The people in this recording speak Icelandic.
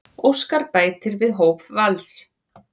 Óskar bætir við hóp Vals